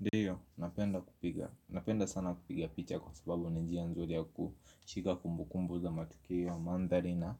Ndiyo, napenda kupiga. Napenda sana kupiga picha kwa sababu ni njia nzuri ya kushika kumbukumbu za matukio ya mandhari na